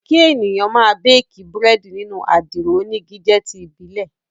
Kí èèyàn máa béèkí Búrẹ́dì nínú àdìro onígi jẹ́ ti ìbílẹ̀